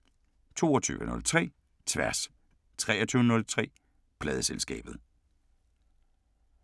22:03: Tværs 23:03: Pladeselskabet